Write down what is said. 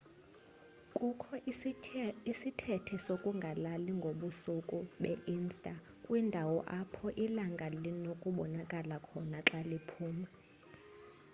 kukho isithethe sokungalali ngobusuku be-ista kwindawo apho ilanga linokubonakala khona xa liphuma